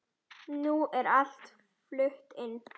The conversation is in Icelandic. Nú er allt flutt inn.